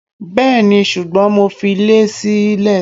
bẹẹni, sugbon mo fi lè sí ìlé